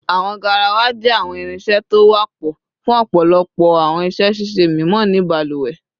Awọn garawa jẹ awọn irinṣẹ to wapọ fun ọpọlọpọ awọn iṣẹ ṣiṣe mimọ ni baluwe